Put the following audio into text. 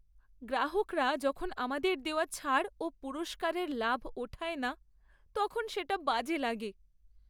গ্রাহকরা যখন আমাদের দেওয়া ছাড় ও পুরস্কারের লাভ ওঠায় না, তখন সেটা বাজে লাগে।